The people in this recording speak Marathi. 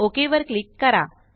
ओक वर क्लिक करा